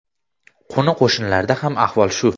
Qo‘ni-qo‘shnilarda ham ahvol shu.